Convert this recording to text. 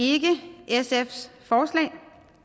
ikke sfs forslag